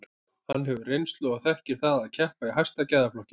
Hann hefur reynslu og þekkir það að keppa í hæsta gæðaflokki.